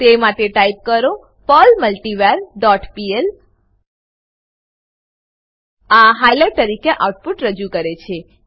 તે માટે ટાઈપ કરો પર્લ મલ્ટિવર ડોટ પીએલ આ હાઈલાઈટ તરીકે આઉટપુટ રજુ કરે છે